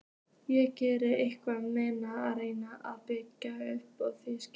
Ég gerði ekkert nema reyna að bjarga þínu auma skinni.